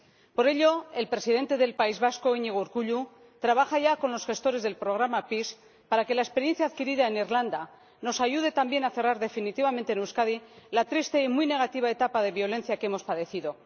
Por ello, el Presidente del País Vasco, Iñigo Urkullu, trabaja ya con los gestores del programa PEACE para que la experiencia adquirida en Irlanda del Norte nos ayude también a cerrar definitivamente en Euskadi la triste y muy negativa etapa de violencia que hemos padecido.